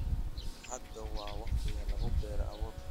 Hadda waa waqtiga lagu beero abuurka.